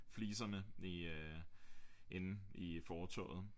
Fliserne i øh inde i fortovet